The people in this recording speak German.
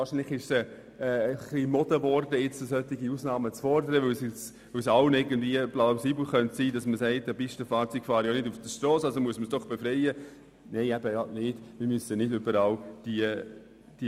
Aber vielleicht ist es auch Mode geworden, solche Ausnahmen zu fordern, weil es allen irgendwie plausibel scheint, wenn man sagt, Pistenfahrzeuge würden ja nicht auf der Strasse fahren und deshalb müsse man sie befreien.